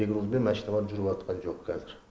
перегрузбен машиналар жүріватқан жол қазір